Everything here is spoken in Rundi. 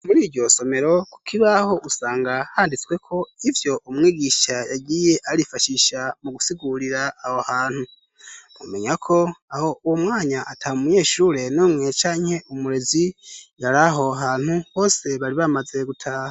Muri iryosomero kuk ibaho usanga handitsweko ivyo umwigisha yagiye arifashisha mu gusigurira aho hantu mumenya ko aho uwo mwanya ata mu muyeshure nomwe canke umurezi yari aho hantu bose bari bamaze gutaha.